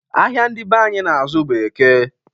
Ahịa ndị be anyị na-azụ bụ Eke.